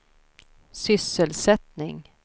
sysselsättning